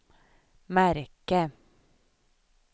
märke